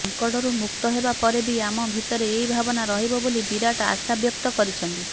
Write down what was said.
ସଂକଟରୁ ମୁକ୍ତ ହେବା ପରେ ବି ଆମ ଭିତରେ ଏହି ଭାବନା ରହିବ ବୋଲି ବିରାଟ ଆଶାବ୍ୟକ୍ତ କରିଛନ୍ତି